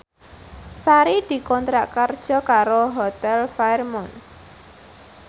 Sari dikontrak kerja karo Hotel Fairmont